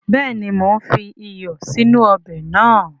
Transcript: Béèni mo n fi iyọ̀ sínú ọbè nàá